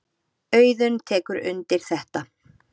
Auðunn tekur undir þetta.